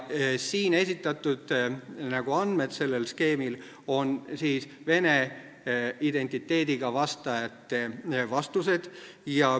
Sellel skeemil esitatud andmed on vene identiteediga vastajate vastused.